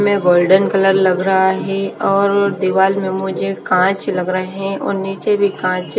मे golden colour लग रहा है और दीवाल में मुझे कांच लग रहे हैं और नीचे भी कांच--